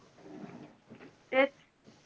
तेच.